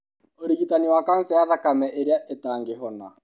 ũrigitani wa kanca ya thakame ĩrĩa ĩtangĩhona.